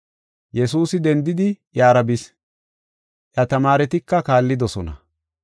Yesuusi dendidi iyara bis; iya tamaaretika kaallidosona.